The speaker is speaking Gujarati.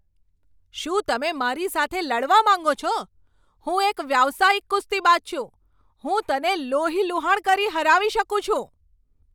શું તમે મારી સાથે લડવા માંગો છો? હું એક વ્યાવસાયિક કુસ્તીબાજ છું! હું તને લોહીલુહાણ કરી હરાવી શકું છું.